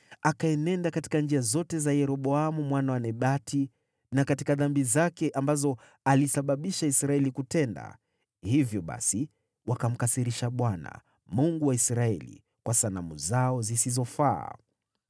Akaenenda katika njia zote za Yeroboamu mwana wa Nebati na katika dhambi zake, ambazo alisababisha Israeli kutenda, hivyo basi wakamkasirisha Bwana , Mungu wa Israeli kwa sanamu zao zisizofaa.